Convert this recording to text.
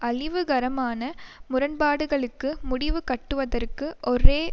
அழிவுகரமான முரண்பாடுகளுக்கு முடிவுகட்டுவதற்கு ஒரே